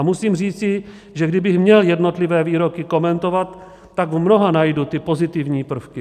A musím říci, že kdybych měl jednotlivé výroky komentovat, tak v mnohých najdu ty pozitivní prvky.